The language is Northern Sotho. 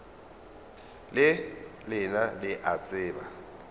le lena le a tseba